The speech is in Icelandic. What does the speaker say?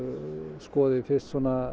skoði fyrst